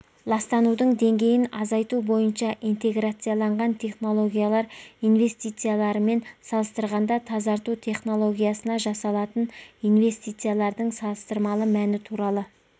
ластанудың деңгейін азайту бойынша интеграцияланған технологиялар инвестицияларымен салыстырғанда тазарту технологиясына жасалатын инвестициялардың салыстырмалы мәні туралы